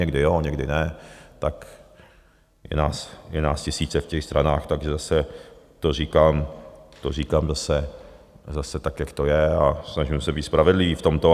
Někdy jo, někdy ne, tak je nás tisíce v těch stranách, takže zase to říkám, to říkám zase tak, jak to je, a snažím se být spravedlivý v tomto.